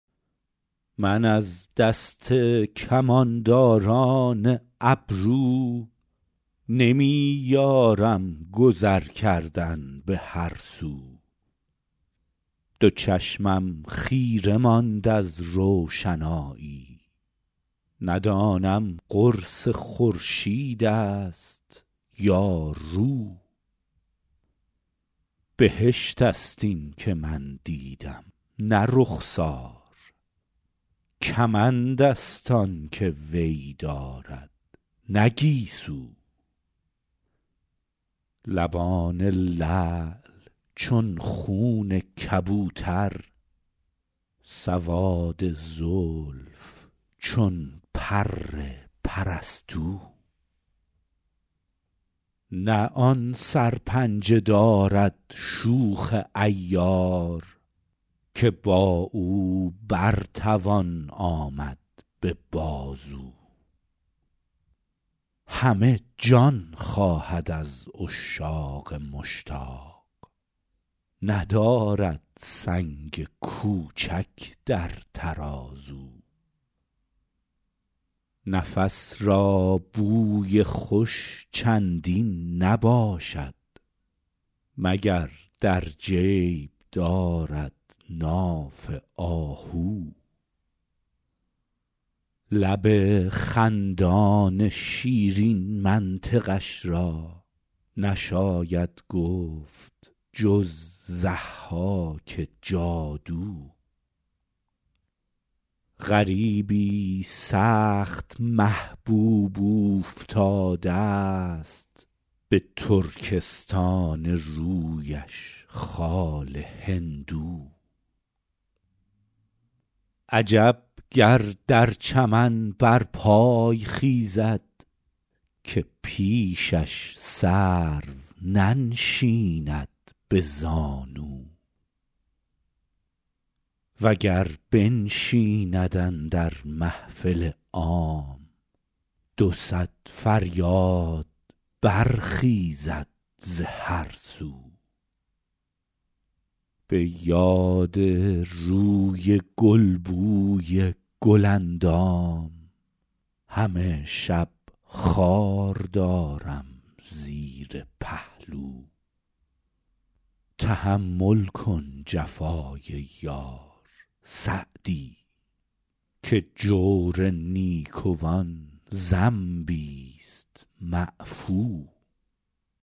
من از دست کمانداران ابرو نمی یارم گذر کردن به هر سو دو چشمم خیره ماند از روشنایی ندانم قرص خورشید است یا رو بهشت است این که من دیدم نه رخسار کمند است آن که وی دارد نه گیسو لبان لعل چون خون کبوتر سواد زلف چون پر پرستو نه آن سرپنجه دارد شوخ عیار که با او بر توان آمد به بازو همه جان خواهد از عشاق مشتاق ندارد سنگ کوچک در ترازو نفس را بوی خوش چندین نباشد مگر در جیب دارد ناف آهو لب خندان شیرین منطقش را نشاید گفت جز ضحاک جادو غریبی سخت محبوب اوفتاده ست به ترکستان رویش خال هندو عجب گر در چمن برپای خیزد که پیشش سرو ننشیند به زانو و گر بنشیند اندر محفل عام دو صد فریاد برخیزد ز هر سو به یاد روی گل بوی گل اندام همه شب خار دارم زیر پهلو تحمل کن جفای یار سعدی که جور نیکوان ذنبیست معفو